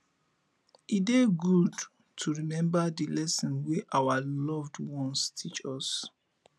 e dey good to remember the lessons wey our loved ones teach us